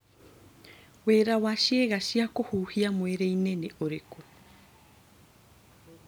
Wĩra wa ciĩga cia kũhũhia mwĩrĩ-inĩ nĩ ũrĩkũ?